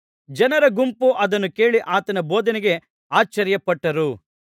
ಜನರ ಗುಂಪು ಅದನ್ನು ಕೇಳಿ ಆತನ ಬೋಧನೆಗೆ ಆಶ್ಚರ್ಯಪಟ್ಟರು